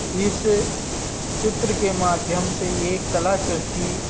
इस चित्र के माध्यम से ये कलाकृति --